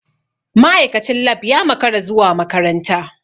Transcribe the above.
Ma'aikacin lab ya makara zuwa makaranta.